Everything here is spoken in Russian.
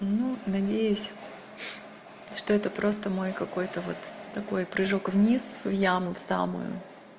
ну надеюсь что это просто мой какой-то вот такой прыжок вниз в яму в самую